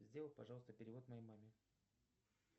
сделай пожалуйста перевод моей маме